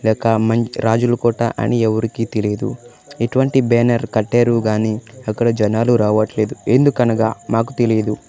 ఇదొక మంచి రాజులకోట అని ఎవరికి తెలియదు ఎటువంటి బ్యానర్ కట్టారు గాని అక్కడ జనాలు రావట్లేదు ఎందుకనగా మాకు తెలియదు.